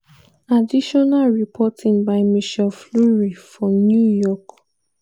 additional reporting by michelle fleury for new york